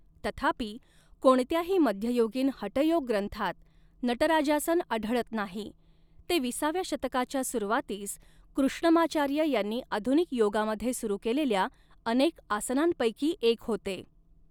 तथापि, कोणत्याही मध्ययुगीन हठयोग ग्रंथात नटराजासन आढळत नाही, ते विसाव्या शतकाच्या सुरुवातीस कृष्णमाचार्य यांनी आधुनिक योगामध्ये सुरू केलेल्या अनेक आसनांपैकी एक होते.